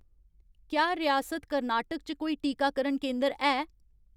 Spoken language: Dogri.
क्या रियासत कर्नाटक च कोई टीकाकरण केंदर है